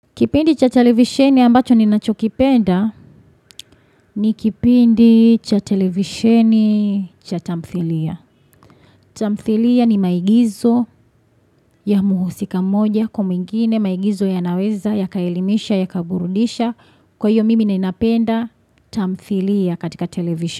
Kipindi cha televisheni ambacho ninachokipenda ni kipindi cha televisheni cha tamthilia. Tamthilia ni maigizo ya muhusika mmoja kwa mwingine maigizo yanaweza, yakaelimisha, yakaburudisha. Kwa hiyo mimi ninapenda tamthilia katika television.